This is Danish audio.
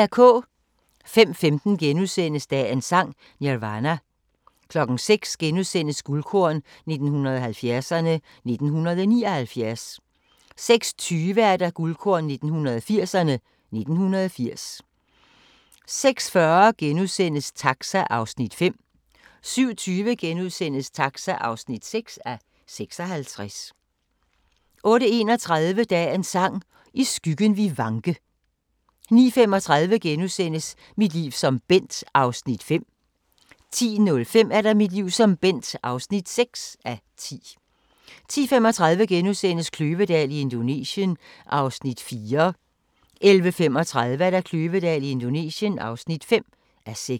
05:15: Dagens Sang: Nirvana * 06:00: Guldkorn 1970'erne: 1979 * 06:20: Guldkorn 1980'erne: 1980 06:40: Taxa (5:56)* 07:20: Taxa (6:56) 08:31: Dagens Sang: I skyggen vi vanke 09:35: Mit liv som Bent (5:10)* 10:05: Mit liv som Bent (6:10) 10:35: Kløvedal i Indonesien (4:6)* 11:35: Kløvedal i Indonesien (5:6)